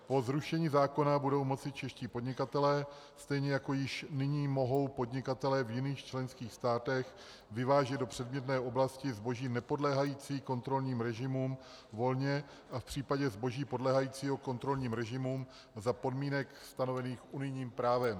Po zrušení zákona budou moci čeští podnikatelé, stejně jako již nyní mohou podnikatelé v jiných členských státech, vyvážet do předmětné oblasti zboží nepodléhající kontrolním režimům volně a v případě zboží podléhajícího kontrolním režimům za podmínek stanovených unijním právem.